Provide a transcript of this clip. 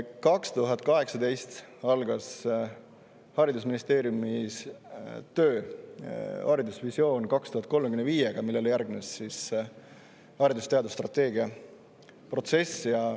2018. aastal algas haridusministeeriumis töö haridusvisioon 2035-ga, millele järgnes haridus‑ ja teadusstrateegia protsess.